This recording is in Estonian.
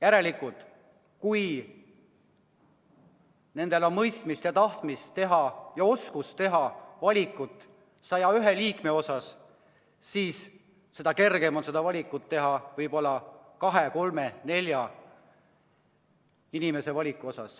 Ja kui nendel on mõistmist ja tahtmist ja oskust valida 101 Riigikogu liiget, siis seda kergem on teha valik võib-olla kahe-kolme-nelja inimese vahel.